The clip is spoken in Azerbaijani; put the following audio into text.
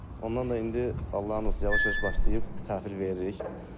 Ondan da indi Allahın izni ilə yavaş-yavaş başlayıb, təhvil veririk.